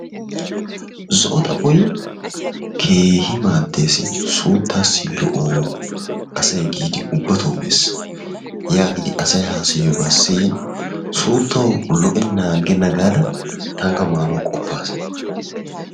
Zo"o xaphphoy keehi maaddees. Suuttaas lo''o asay giidi ubbatoo mees. Yaagidi asay haasayiyoogaa siyin suuttawu lo'ennan aggena gaada tanikka maanawu qoppas.